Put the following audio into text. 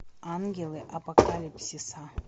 ангелы апокалипсиса